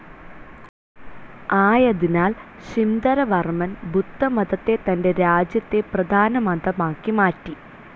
ആയതിനാൽ ശിംധരവർമ്മൻ ബുദ്ധമതത്തെ തൻ്റെ രാജ്യത്തെ പ്രധാന മതമാക്കി മാറ്റി.